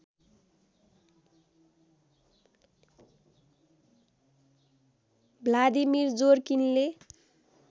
Vladimir जोरकिनले